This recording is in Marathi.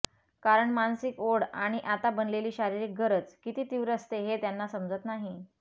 कारण मानसिक ओढ आणि आता बनलेली शारीरिक गरज किती तीव्र असते हे त्यांना समजत नाही